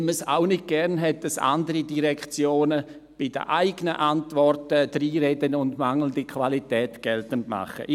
– Weil man es auch nicht gern hat, dass andere Direktionen bei den eigenen Antworten reinreden und mangelnde Qualität geltend machen.